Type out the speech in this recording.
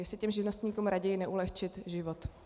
Jestli těm živnostníkům raději neulehčit život.